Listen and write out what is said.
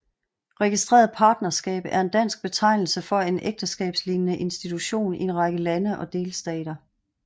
Registreret partnerskab er en dansk betegnelse for en ægteskabslignende institution i en række lande og delstater